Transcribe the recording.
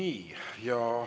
Aitäh!